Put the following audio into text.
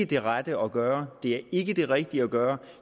det rette at gøre det er ikke det rigtige at gøre